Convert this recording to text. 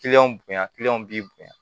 bonya b'i bonya